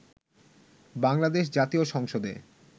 বাংলাদেশ জাতীয় সংসদে